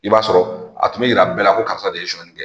I b'a sɔrɔ a tun be yira bɛɛ la ko karisa de ye suɲɛni kɛ.